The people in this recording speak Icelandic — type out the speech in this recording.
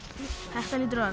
þetta hlýtur að